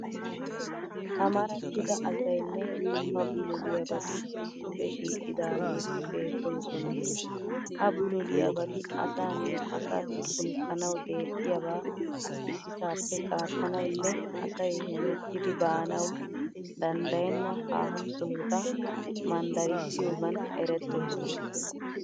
Amarattida asayinne dumma bululiyabati issippe shiiqidaageeti beettoosona. Ha bululiyabati asaanne asaassi tookkanawu deexxiyaba ississaappe qaattanawunne asay hemettidi baanawu danddayenna haaho sohota manddarissiyogaan erettoosona.